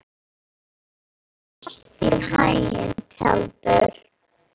Gangi þér allt í haginn, Tjaldur.